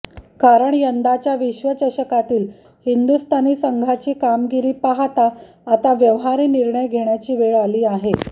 कारण यंदाच्या विश्वचषकातील हिंदुस्थानी संघाची कामगिरी पाहता आता व्यवहारी निर्णय घेण्याची वेळ आली आहे